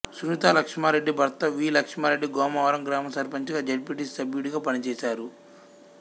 సునితా లక్ష్మారెడ్డి భర్త వి లక్ష్మారెడ్డి గోమారం గ్రామ సర్పంచిగా జడ్పీటీసి సభ్యుడిగా పనిచేశారు